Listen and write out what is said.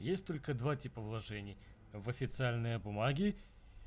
есть только два типа вложений в официальные бумаги